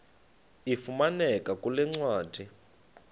ifumaneka kule ncwadi